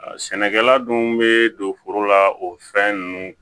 Sɛnɛkɛla dun bɛ don foro la o fɛn ninnu